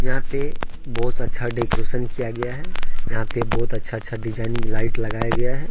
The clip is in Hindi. यहां पे बहोत अच्छा डेकोरेट किया गया है यहां पे बहोत अच्छा अच्छा डिजाइनिंग लाइट लगाया गया है।